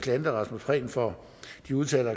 herre rasmus prehn for de udtalelser